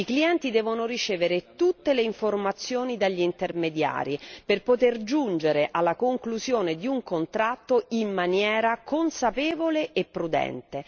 I clienti devono ricevere tutte le informazioni dagli intermediari per poter giungere alla conclusione di un contratto in maniera consapevole e prudente.